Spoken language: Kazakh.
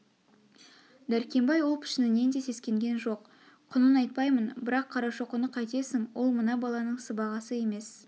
дәркембай ол пішінінен де сескенген жоқ құнын айтпаймын бірақ қарашоқыны қайтесің ол мына баланың сыбағасы емес